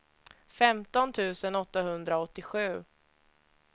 femton tusen åttahundraåttiosju